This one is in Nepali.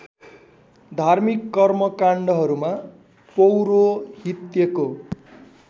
धार्मिक कर्मकाण्डहरूमा पौरोहित्यको